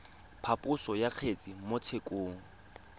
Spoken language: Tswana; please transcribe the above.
phaposo ya kgetse mo tshekong